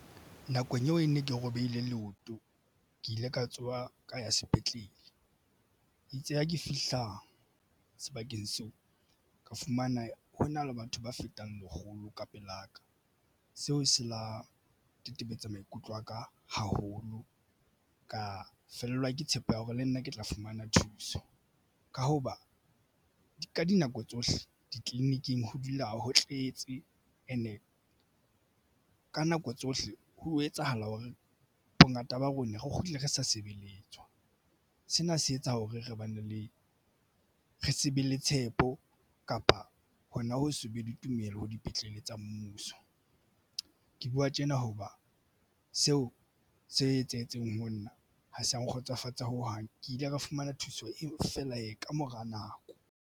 Nakong eo e ne ke robehile leoto ke ile ka tsoha ka ya sepetlele itse ha ke fihla sebakeng seo ka fumana hona le batho ba fetang lekgolo ka pela ka seo se la tetebetsa maikutlo aka haholo ka fellwa ke tshepo ya hore le nna ke tla fumana thuso ka hoba ka dinako tsohle ditleliniking ho dula ho tletse and-e ka nako tsohle Ho etsahala hore bongata ba rona re kgutle re sa sebeletswa. Sena se etsa hore re bane le re se be le tshepo kapa hona ho se be le tumelo ho dipetlele tsa mmuso. Ke buwa tjena hoba seo se etsahetseng ho nna ha se nkgotsofatse ho hang ke ile ka fumana thuso eo fela e kamora nako.